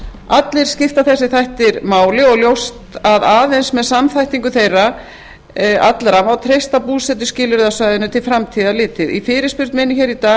allir skipta þessir þættir máli og ljóst að aðeins með samþættingu þeirra allra má treysta búsetuskilyrði á svæðinu til framtíðar litið í fyrirspurn minni hér í dag